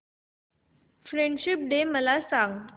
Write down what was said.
friendship day मला सांग